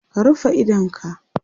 ka rufe idonka!